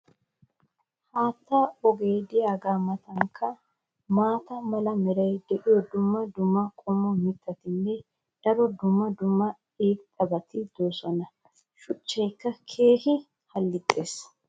haattaa ogee diyaagaa matankka maata mala meray diyo dumma dumma qommo mitattinne hara dumma dumma irxxabati de'oosona. shuchchaykka keehi halixxees.